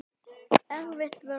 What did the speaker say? Erfið vörn.